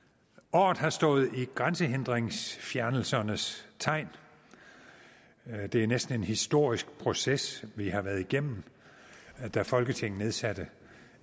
året har stået i grænsehindringsfjernelsernes tegn det er næsten en historisk proces vi har været igennem da folketinget nedsatte